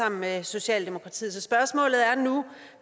sammen med socialdemokratiet så spørgsmålet er nu